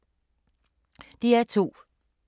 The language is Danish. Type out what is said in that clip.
DR2